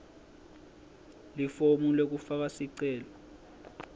lifomu lekufaka sicelo